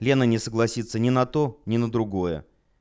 лена не согласиться не на то не на другое